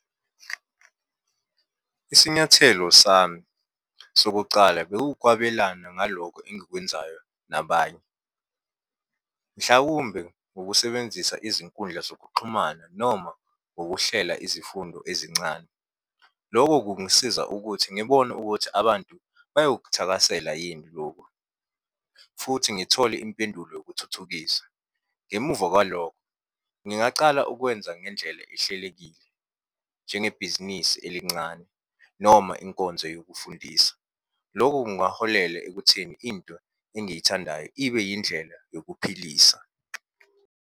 Isinyathelo sami sokucala bekukwabelana ngalokho engikwenzayo nabanye. Mhlawumbe ngokusebenzisa izinkundla zokuxhumana noma ngokuhlela izifundo ezincane. Loko kungisiza ukuthi ngibone ukuthi abantu bayokuthakasela yini lokhu, futhi ngithole impendulo yokuthuthukisa. Ngemuva kwalokho, ngingacala ukwenza ngendlela ehlelekile, njengebhizinisi elincane noma inkonzo yokufundisa. Lokhu kungaholela ekutheni into engiyithandayo ibe yindlela yokuphilisa.